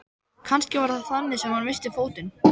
Kannski var það þannig sem hann missti fótinn.